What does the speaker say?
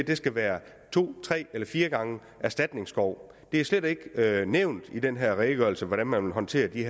det skal være to tre eller fire gange erstatningsskov det er slet ikke nævnt i den her redegørelse hvordan man vil håndtere de